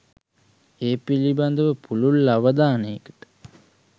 ඒ පිළිබඳ ව පුළුල් අවධානයට